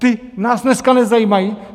Ti nás dneska nezajímají?